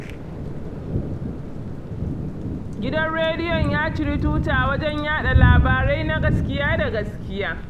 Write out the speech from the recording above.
Gidan rediyon ya ciri tuta wajen yaɗa labarai na gaskiya da gaskiya